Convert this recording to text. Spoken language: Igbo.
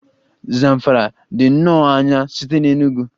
Zamfara dị nnọọ anya site na Enugwu